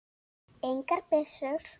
Engar byssur.